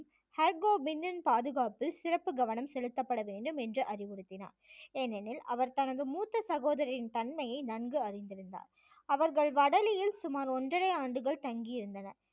ஹர்கோபிந்தின் பாதுகாப்பில் சிறந்த கவனம் செலுத்தப்பட வேண்டும் என்று அறிவுறுத்தினார் ஏனெனில் அவர் தனது மூத்த சகோதரரின் தன்மையை நன்கு அறிந்திருந்தார். அவர்கள் வடலியில் சுமார் ஒன்றரை ஆண்டுகள் தங்கி இருந்தனர்